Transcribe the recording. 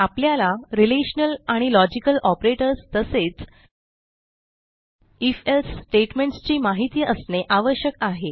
आपल्याला रिलेशनल आणि logical operators तसेच ifएल्से स्टेटमेंट्स ची माहिती असणे आवश्यक आहे